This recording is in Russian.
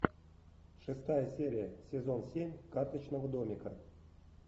шестая серия сезон семь карточного домика